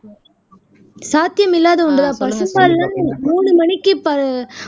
சாத்தியமில்லாத ஒன்றுதான்பா பசும்பால்லாம் மூணு மணிக்கு ப